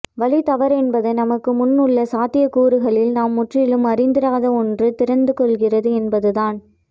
வழி தவறுவதென்பது நமக்கு முன் உள்ள சாத்தியக் கூறுகளில் நாம் முற்றிலும் அறிந்திராத ஒன்று திறந்து கொள்கிறது என்பதுதான்